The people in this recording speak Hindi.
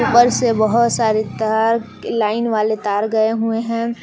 ऊपर से बहुत सारे तार लाइन वाले तार गए हुए हैं।